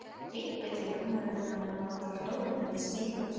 Einhverntíma hefði maður nú átt að roðna yfir slíku.